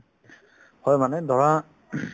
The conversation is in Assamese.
হয় মানে ধৰা ing